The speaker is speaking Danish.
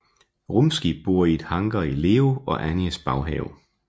Rumskib bor i et hangar i Leo og Annies baghave